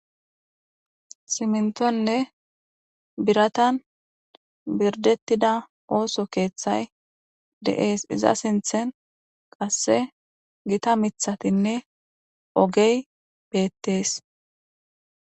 Simintonne biratan birdettida ooso keeththay de7ees iza sinthen qasse gita mithatinne ogey beettees.